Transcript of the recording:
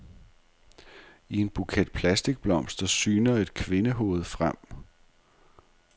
I en buket plastikblomster syner et kvindehoved frem.